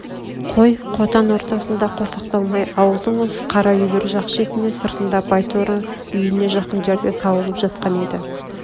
қой қотан ортасында қосақталмай ауылдың осы қара үйлер жақ шетінде сыртында байторы үйне жақын жерде сауылып жатқан-ды